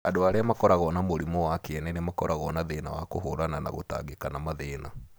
Andũ arĩa makoragwo na mũrimũ wa kĩene nĩ makoragwo na thĩna wa kũhũrana na gũtangĩka na mathĩna.